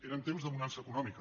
eren temps de bonança econòmica